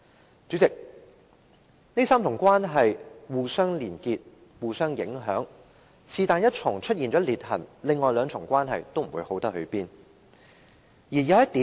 代理主席，這3重關係互相連結及影響，任何一重關係出現了裂痕，另外兩重關係都不會好。